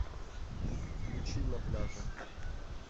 включи на пляже